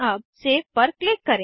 अब सेव पर क्लिक करें